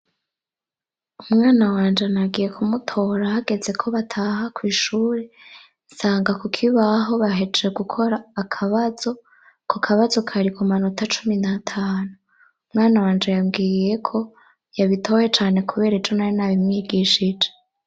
Umwana wanje nagiye kumutora hageze ko bataha kw'ishure nsanga ku kibaho bahejeje gukora akabazo, ako kabazo kari ku manota cumi n'atanu. Umwana wanje yambwiye ko yabitoye cane kubera ejo nari nabimwigishije.